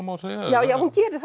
má segja já já hún gerir